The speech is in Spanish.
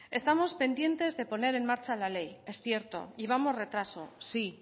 estamos pendientes de poner en marcha la ley es cierto llevamos retraso sí